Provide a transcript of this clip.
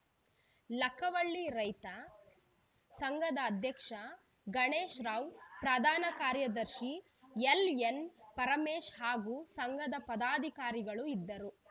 ಲಕ್ಕವಳ್ಳಿ ರೈತ ಸಂಘದ ಅಧ್ಯಕ್ಷ ಗಣೇಶ್‌ ರಾವ್‌ ಪ್ರಧಾನ ಕಾರ್ಯದರ್ಶಿ ಎಲ್‌ಎನ್‌ ಪರಮೇಶ್‌ ಹಾಗೂ ಸಂಘದ ಪದಾಧಿಕಾರಿಗಳು ಇದ್ದರು